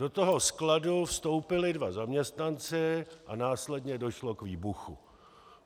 Do toho skladu vstoupili dva zaměstnanci a následně došlo k výbuchu."